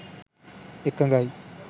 එකඟයි